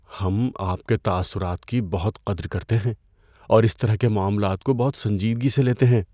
ہم آپ کے تاثرات کی بہت قدر کرتے ہیں اور اس طرح کے معاملات کو بہت سنجیدگی سے لیتے ہیں۔